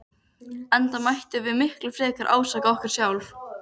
Enda mættum við miklu frekar ásaka okkur sjálf.